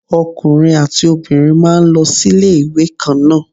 Ọkùnrin àti obìnrin máa ń lọ sí ilé ìwé kan náà.